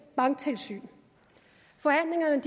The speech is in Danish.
banktilsyn forhandlingerne